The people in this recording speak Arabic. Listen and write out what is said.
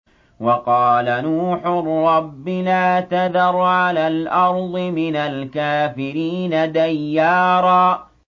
وَقَالَ نُوحٌ رَّبِّ لَا تَذَرْ عَلَى الْأَرْضِ مِنَ الْكَافِرِينَ دَيَّارًا